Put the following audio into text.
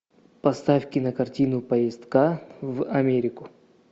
поставь кинокартину поездка в америку